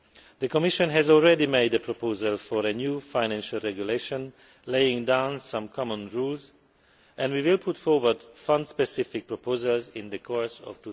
The Commission has already made a proposal for a new financial regulation laying down some common rules and we will put forward some specific proposals in the course of